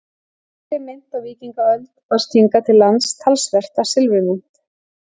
Yngri mynt Á víkingaöld barst hingað til lands talsvert af silfurmynt.